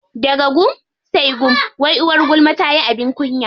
Daga gum sai gum, wai uwar gulma tayi abin kunya.